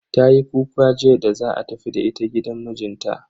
Tayi kuka jiya da za a tafi da ita gidan mijinta.